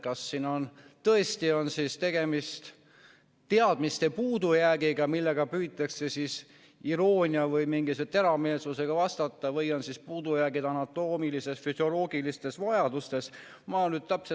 Kas siin on tõesti tegemist teadmiste puudujäägiga, mille tõttu püütakse iroonia või mingi teravmeelsusega vastata, või on puudujäägid anatoomilistes, füsioloogilistes vajadustes?